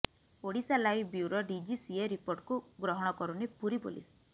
Odisha live bureau DGCA ରିପୋର୍ଟକୁ ଗ୍ରହଣ କରୁନି ପୁରୀ ପୋଲିସ